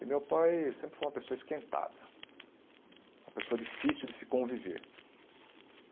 E meu pai sempre foi uma pessoa esquentada, uma pessoa difícil de se conviver.